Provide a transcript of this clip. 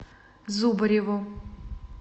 зубареву